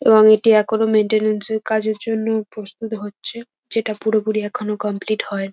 এবং এটি এখনো মেন্টেনেন্স -এর কাজের জন্যও প্রস্তুত হচ্ছে যেটা পুরোপুরি এখনো কমপ্লিট হয়ন--